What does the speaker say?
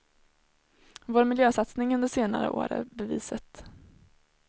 Vår miljösatsning under senare år är beviset.